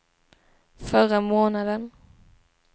förra månaden